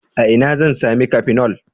A ina zan sami cafenol?